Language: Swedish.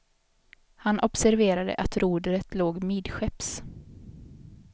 Han observerade att rodret låg midskepps.